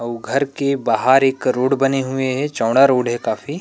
अउ घर के बाहर एक रोड बने हुए हे चौड़ा रोड हे काफी